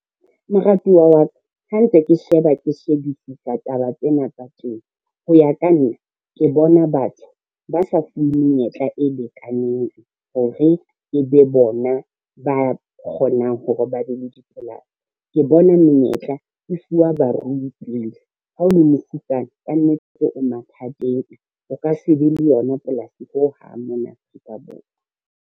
Moratuwa wa ka, ha ntse ke sheba ke shebisisa taba tsena tsa temo, ho ya ka nna ke bona batho ba sa fuwe menyetla e lekaneng hore e be bona ba kgonang hore ba be le dipolasi. Ke bona menyetla e fuwa barui pele, ha o le mofutsana, kannete tse o mathateng, o ka se be le yona polasi ho hang mona Afrika Borwa.